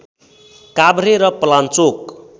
काभ्रे र पलाञ्चोक